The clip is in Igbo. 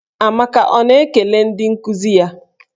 Amaka ọ na-ekele ndị nkuzi ya?